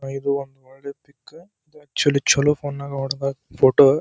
ಇದೊಂದು ಒಳ್ಳೆ pic actually ಚಲೋ ಫೋನ್ ನಗೆ ಹೋಡ್ದಾರ ಫೋಟೋ .